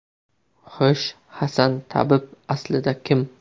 Xo‘sh, Hasan tabib aslida kim?